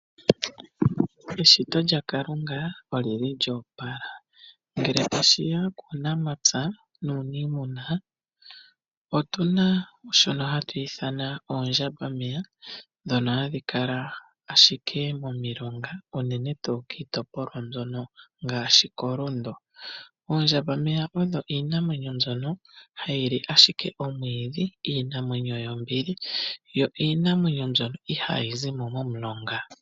Eshito lyakalunga olyili lyoopala, ngele tashi ya kuunamampya nuniimuna otu na shono ha twii ithanwa oondjambameya. Ndhono hadhi kala ashike momilonga uunene tuu kiitopolwa mbyono ngaashi koLundu. Oondjambameya odho iinamwenyo mbono hayi li ashike omwiidhi iinamwenyo yombili, yo iinamwenyo mbyono ihaayi zi mo mumulonga.